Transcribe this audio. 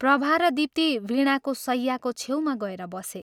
प्रभा र दीप्ति वीणाको शय्याको छेउमा गएर बसे।